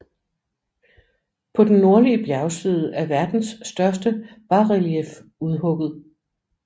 På den nordlige bjergside er verdens største basrelief udhugget